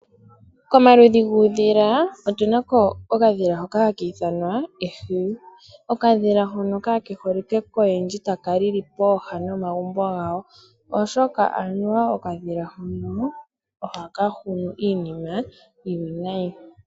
Komaludhi guudhila otunako okadhila hoka haka ithwanwa ehwiyu. Okadhila hono kakeholike koyendji taka lili pooha nomagumbo gawo, oshoka anuwa okadhila hono ohaka hunu iinima iiwinayi.